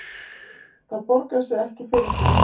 Það borgar sig ekki fyrir þau